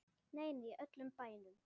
Nei, nei, í öllum bænum.